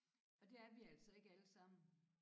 Og det er vi altså ikke alle sammen